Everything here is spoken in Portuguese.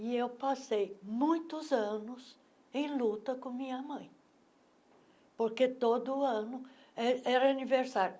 E eu passei muitos anos em luta com minha mãe, porque todo ano eh era aniversário.